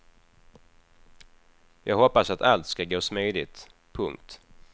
Jag hoppas att allt ska gå smidigt. punkt